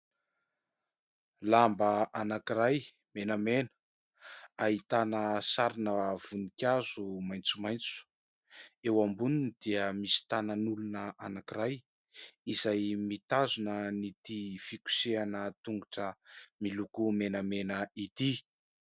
Lamba anankiray menamena ahitana sarina voninkazo maitsomaitso. Eo amboniny dia misy tànan'olona anakiray izay mitazona an'ity fikosehana tongotra miloko menamena ity.